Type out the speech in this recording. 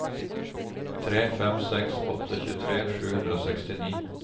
tre fem seks åtte tjuetre sju hundre og sekstini